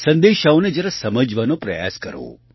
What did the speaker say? સંદેશાઓને જરા સમજવાનો પ્રયાસ કરું